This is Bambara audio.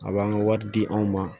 A b'an ka wari di anw ma